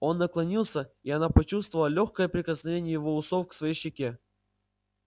он наклонился и она почувствовала лёгкое прикосновение его усов к своей щеке